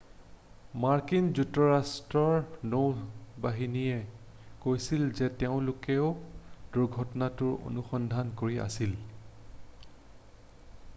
মাৰ্কিন যুক্তৰাষ্ট্ৰৰ নৌ বাহিনীয়েও কৈছিল যে তেওঁলোকেও দুৰ্ঘটনাটোৰ অনুসন্ধান কৰি আছিল